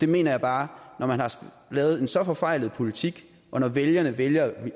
mener bare at når man har lavet en så forfejlet politik og når vælgerne vælgerne